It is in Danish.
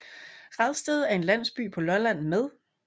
Radsted er en landsby på Lolland med